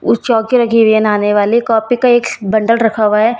उस चौकी रखी हुई है नहाने वाली कॉपी का एक बंडल रखा हुआ है।